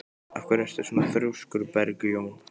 Af hverju ertu svona þrjóskur, Bergjón?